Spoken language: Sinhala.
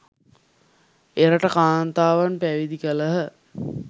එරට කාන්තාවන් පැවිදි කළහ